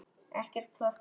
Ekkert plott í gangi.